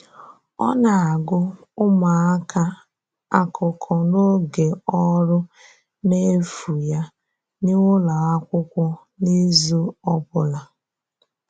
Ọ na-agụ̀ ụmụaka akụkọ n’oge ọrụ n’efu ya n’ụlọ akwụkwọ n’izu ọ bụla.